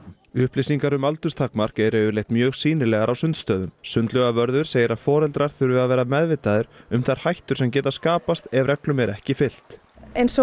upplýsingar um aldurstakmark eru yfirleitt mjög sýnilegar á sundstöðum sundlaugarvörður segir að foreldrar þurfi að vera meðvitaðir um þær hættur sem geta skapast ef reglum er ekki fylgt eins og